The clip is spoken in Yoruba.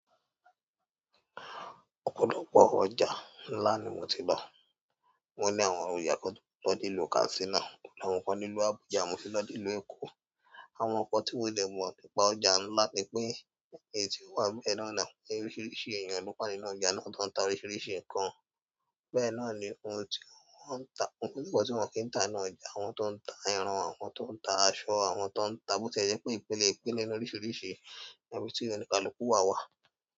Òpòlòpò ọjà nlá ni mó ti lo, mó ni áwòn ója kan lọ sílu Katsiná, àwọn kan nilu Àbújá, mó ti lọ sílu Èkó. Àwọn nkan tí mo dé mó nípa ọjà nlá nipé éyii ti ti o wa níbẹ̀ na, orísìríṣi eeyan ni mo pàdé na ọjà na tò n tá orísìríṣi nkàn. Bẹ́ẹ̀ ná ni oun tíwòn ki n tá ni ọjà, áwòn tó n tá ẹran, áwòn tó n tá asọ, áwòn tó n tá bo tie jè pé ìpélé ìpélé ni orísìríṣi ibi tí ó ni kaluku wá wá.